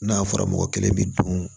N'a fɔra mɔgɔ kelen bɛ dun